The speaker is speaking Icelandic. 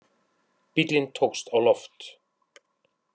Bíllinn tókst á loft